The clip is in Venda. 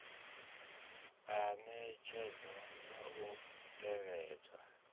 a ṋetshedzwa na u tevhedzwa